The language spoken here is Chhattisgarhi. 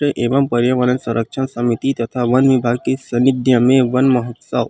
एमं परियावरण संरक्षण समिति तथा वन विभाग के सानिध्य में वन महोत्सव--